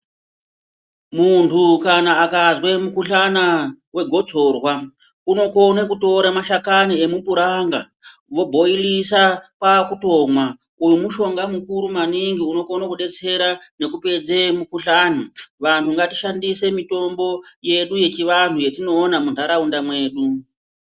Muntu kana akazwe mukuhlana wegotsorwa, unokone kutore mashakana emupuranga , vobhoilisa kwakutomwa. Uyu mushonga mukuru maningi unokone kudetsera nekupedze mukuhlani. Vanhu ngatishandise mitombo yedu yechivanhu yetinoona muntaraunda mwedu.